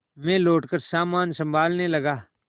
मैं लौटकर सामान सँभालने लगा